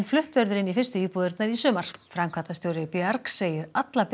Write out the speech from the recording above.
flutt verður inn í fyrstu íbúðirnar í sumar framkvæmdastjóri bjargs segir alla